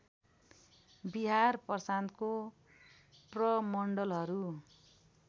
बिहार प्रान्तको प्रमण्डलहरू